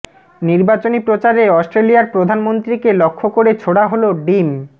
নির্বাচনী প্রচারে অস্ট্রেলিয়ার প্রধানমন্ত্রীকে লক্ষ্য করে ছোড়া হল ডিম